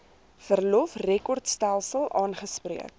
verlof rekordstelsel aangespreek